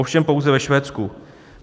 Ovšem pouze ve Švédsku.